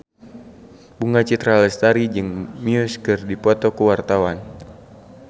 Bunga Citra Lestari jeung Muse keur dipoto ku wartawan